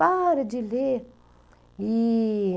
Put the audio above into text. Para de ler. E...